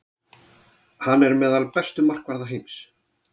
Hann er enn meðal bestu markvarða heims.